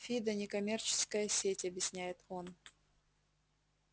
фидо некоммерческая сеть объясняет он